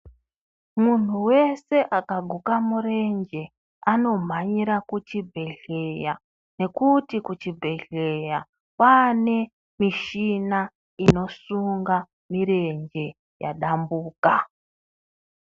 Munhu wese akaguka murenje anomhanyira kuchibhedhleya nekuti kuchibhedhleya kwaanemichina inosunga mirenje yadambuka.